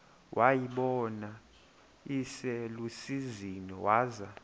wayibona iselusizini waza